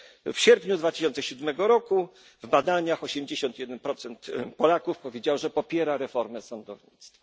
W sierpniu 2007 roku w badaniach 81 Polaków powiedziało, że popiera reformę sądownictwa.